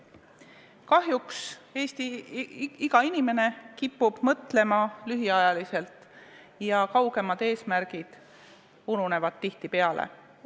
Kahjuks inimene kipub ikka mõtlema lühiajaliselt, kaugemad eesmärgid ununevad tihtipeale.